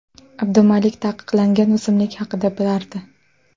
Abdumalik taqiqlangan o‘simlik haqida bilardi.